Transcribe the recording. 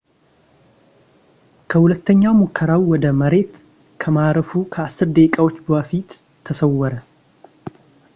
ከሁለተኛ ሙከራው ወደ መሬት ከማረፉ ከአስር ደቂቃዎች በፊት ተሰወረ